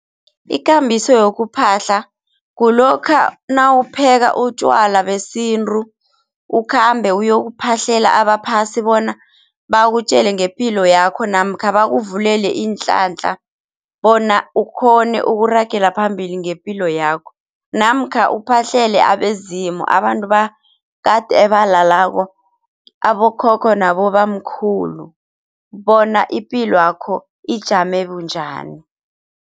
Ikambiso yokuphahla kulokha nawupheka utjwala besintu ukhambe uyokuphahlela abaphasi bona bakutjele ngepilo yakho namkha bakuvulele iinhlanhla bona ukhone ukuragela phambili ngepilo yakho. Namkha uphahlele abezimu, abantu bakade ebalalako abokhokho nabobamkhulu bona ipilwakho ijame bunjani.